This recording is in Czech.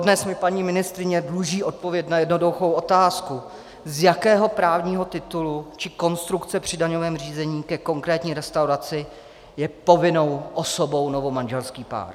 Dodnes mi paní ministryně dluží odpověď na jednoduchou otázku, z jakého právního titulu či konstrukce při daňovém řízení ke konkrétní restauraci je povinnou osobou novomanželský pár.